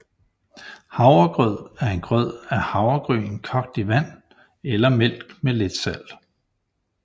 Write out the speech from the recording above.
Havregrød er en grød af havregryn kogt i vand eller mælk med lidt salt